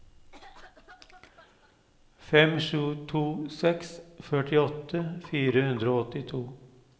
fem sju to seks førtiåtte fire hundre og åttito